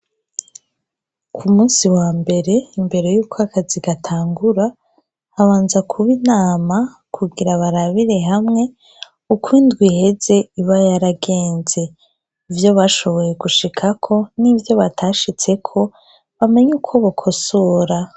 Ku munsi wa mbere, imbere y'uko akazi gatangura, habanza kuba inama kugira barabire hamwe uko indwi iheze iba yaragenze . Ivyo bashoboye gushikako n'ivyo batashitseko bamenye uko bakosora.